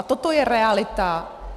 A toto je realita.